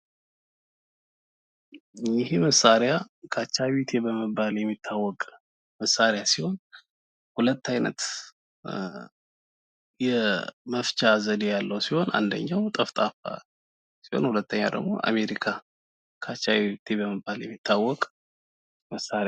ይህ መሳሪያ ካቻቢቴ በመባል የሚታዎቅ መሳሪያ ሲሆን ሁለት አይነት የመፍቻ ዘዴ አለው። አንደኛው ጠፍጣፋ ሲሆን ሌላኛው ደሞ አሜሪካ ካቻቢቴ ይባላል።